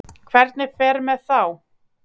Hvernig fer með þá?